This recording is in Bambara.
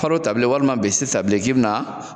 Falo ta bilen walima bese ta k'i bi na